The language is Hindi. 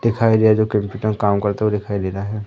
दिखाई दे रहा है जो कंप्यूटर काम करते हुए दिखाई दे रहा है।